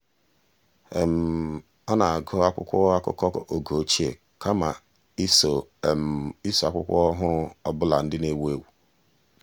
ọ́ nà-ágụ́ ákwụ́kwọ́ ákụ́kọ́ ọ́gé ochie kama iso iso ákwụ́kwọ́ ọ́hụ́rụ́ ọ bụla nà-èwú éwú.